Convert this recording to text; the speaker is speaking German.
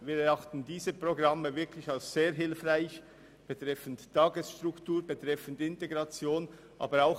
Wir erachten diese Programme wirklich als sehr hilfreich für die Tagesstruktur und die Integration der Asylsuchenden.